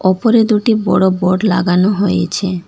ওপরে দুটি বড় বোর্ড লাগানো হয়েছে।